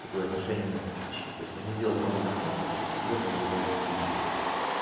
такое отношение у него к подписчикам то есть он не делает новый контент он просто берёт и нарезает стримы блять